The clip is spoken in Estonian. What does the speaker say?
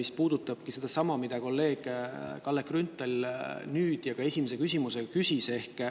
See puudutab sedasama teemat, mille kohta kolleeg Kalle Grünthal nüüd ja ka esimese küsimusega küsis.